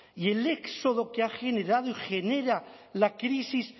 y el éxodo que ha generado y genera la crisis